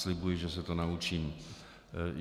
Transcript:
Slibuji, že se to naučím.